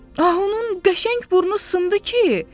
Ah onun qəşəng burnu sındı ki?